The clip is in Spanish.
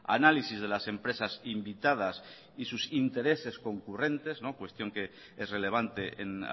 análisis de las empresas invitadas y sus intereses concurrentes cuestión que es relevante en